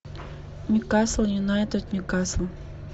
ньюкасл юнайтед ньюкасл